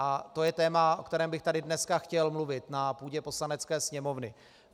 A to je téma, o kterém bych tady dneska chtěl mluvit na půdě Poslanecké sněmovny.